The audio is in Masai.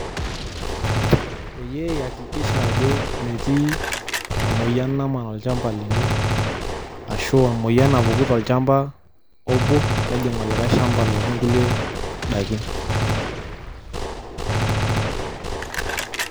Peyie iakikisha ajo metii emoyian naman olchamba lino, ashu emoyian napuku tolchamba obo, nejing' olikae shamba lotii nkulie dakin.